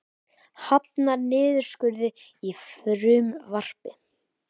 Hafnar niðurskurði í frumvarpi